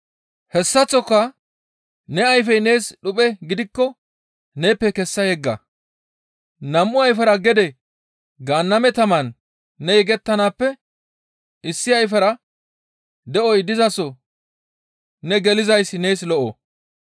Hessaththoka ne ayfey nees dhuphe gidikko neeppe kessa yegga! Nam7u ayfera gede Gaanname taman ne yegettanaappe issi ayfera de7oy dizaso ne gelizayssi nees lo7o.